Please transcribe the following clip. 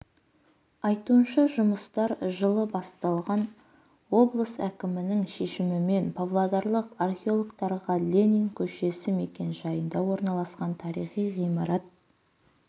айтуынша жұмыстар жылы басталған облыс әкімінің шешімімен павлодарлық археологтарға ленин көшесі мекенжайында орналасқан тарихи ғимарат